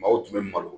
Maaw tun bɛ malo